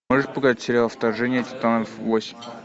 можешь показать сериал вторжение титанов восемь